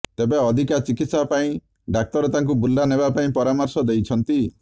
ତେବେ ଅଧିକା ଚିକିତ୍ସା ପାଇଁ ଡାକ୍ତର ତାଙ୍କୁ ବୁର୍ଲା ନେବାପାଇଁ ପରାମର୍ଶ ଦେଇଛନ୍ତି